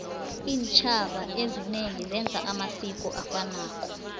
intjhaba ezinye zenza amasiko afanako